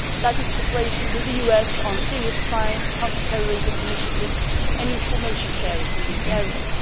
That is, cooperation with the US on serious crime, counter terrorism initiatives and information sharing in these areas.